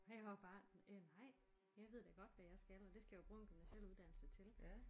Og jeg var bare øh nej jeg ved da godt hvad jeg skal og det skal jeg jo bruge en gymnasiel uddannelse til